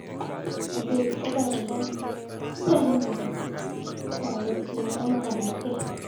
Sopet ko panda, ma kawekchinoetap kei